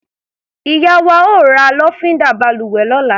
Ìyá wa ó ra lọ́fíndà balùwẹ̀ lọ́la.